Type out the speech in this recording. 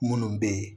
Minnu bɛ yen